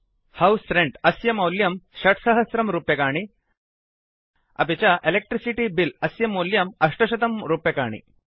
house rent अस्य मौल्यं 6000 रूप्यकाणि अपि च इलेक्ट्रिसिटी बिल अस्य मौल्यं 800 रूप्यकाणि